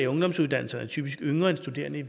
ungdomsuddannelser er typisk yngre end studerende